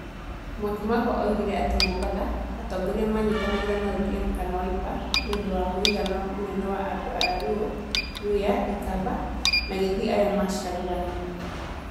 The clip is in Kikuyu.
Mwakimako oigire atĩ Mombatha, atongoria manyitanagĩra na ODM kana Wiper nĩ ũndũ wa mũigana mũnene wa andũ a Luo, Luhya, ikamba na gĩthii arĩa macagũranaga.